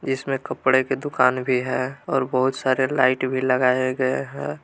जिसमें कपड़े की दुकान भी है और बहुत सारे लाइट भी लगाए गए हैं।